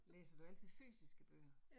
Læser du altid fysiske bøger?